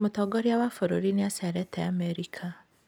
Mũtongoria wa bũrũri nĩ acerete Amerika.